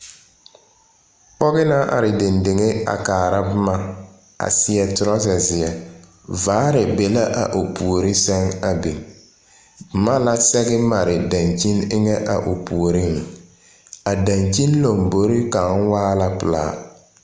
Pͻge naŋ are dendeŋe a kaara boma a seԑ torͻza zeԑ. Vaare be la a o puori sԑŋ a biŋ. Boma la sԑge mare daŋkyini eŋԑ a o puoriŋ. A daŋkyini lambori kaŋa waa la pelaa.